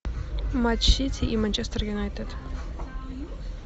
матч сити и манчестер юнайтед